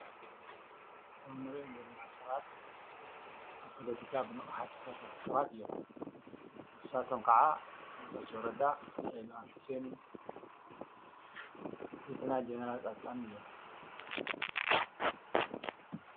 እቶም ንሪኦም ዘለና ሰባት ኣብ ፖለቲካ ብንቕሓት ዝሳተፉ ሰባት እዮም፡፡ ንሳቶም ኸዓ ጌታቸው ረዳ ፣ ሬድዋን ሑሴን፣ ሌተናል ጀነራል ፃድቃን እዮም፡፡